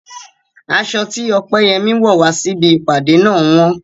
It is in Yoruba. Aṣọ tí Opeyemi wọ̀ wá sí ibi ìpàdé náà wọ́n.